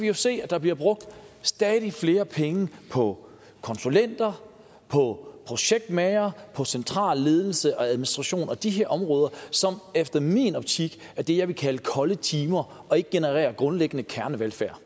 jo se at der bliver brugt stadig flere penge på konsulenter på projektmagere på central ledelse og administration og på de her områder som i min optik er det jeg vil kalde kolde timer der ikke genererer grundlæggende kernevelfærd